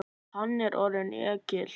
Hann er orðinn ekkill.